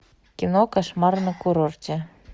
кино кошмар на курорте